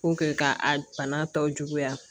ka a bana tɔw juguya